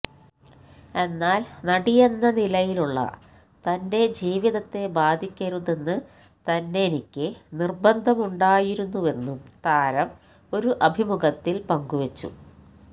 എന്നാല് നടിയെന്ന നിലയിലുള്ള തന്റെ ജീവിതത്തെ ബാധിക്കരുതെന്നു തന്നെനിക്ക് നിര്ബന്ധമുണ്ടായിരുന്നുവെന്നും താരം ഒരു അഭിമുഖത്തില് പങ്കുവച്ചു